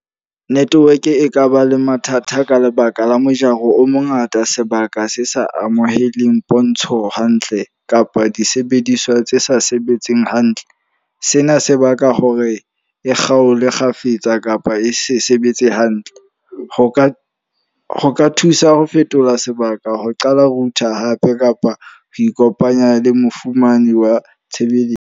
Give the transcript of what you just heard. Network e kaba le mathata ka lebaka la mojaro o mongata, sebaka se sa amohelweng pontsho hantle. Kapa disebediswa tse sa sebetseng hantle. Sena se baka hore e kgaolwe kgafetsa kapa e se sebetse hantle. Ho ka ho ka thusa ho fetola sebaka ho qala router hape kapa ho ikopanya le mofumane wa tshebeletso.